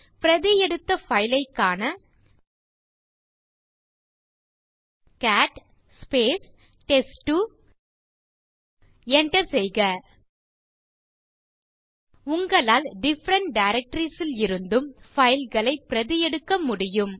பிரதி எடுத்த பைல் ஐக் காண கேட் டெஸ்ட்2 enter செய்க உங்களால் டிஃபரன்ட் டைரக்டரிஸ் ல் இருந்தும் பைல்ஸ் ஐ பிரதி எடுக்க முடியும்